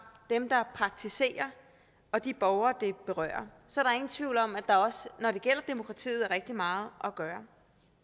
dem der praktiserer og de borgere det berører så der er ingen tvivl om at der også når det gælder demokratiet er rigtig meget at gøre